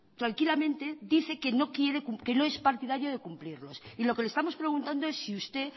tranquilamente dice que no es partidario de cumplirlos y lo que le estamos preguntando es si usted